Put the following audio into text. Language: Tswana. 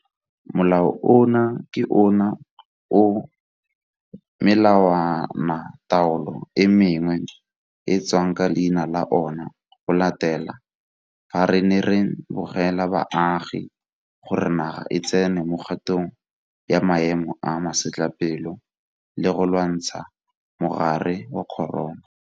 Molao ono ke ona o melawanataolo e mengwe e tswang ka leina la ona go latela fa re ne re begela baagi gore naga e tsene mo kgatong ya maemo a masetlapelo e le go lwantshana le mogare wa corona.